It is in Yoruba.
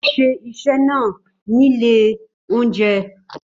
Ó ṣe iṣẹ́ náà ní ilé-oúnjẹ.